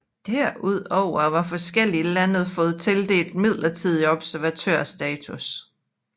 Derudover har forskellige lande fået tildelt midlertidig observatørstatus